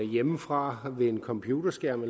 hjemmefra ved en computerskærm